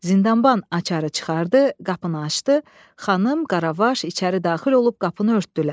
Zindanban açarı çıxardı, qapını açdı, Xanım, Qaravaş içəri daxil olub qapını örtdülər.